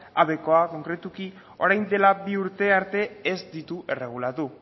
habekoak konkretuki orain dela bi urte arte ez ditu erregulatu